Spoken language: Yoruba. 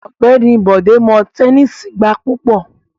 Ọgbẹni Bode mo tẹnisi gba pupọ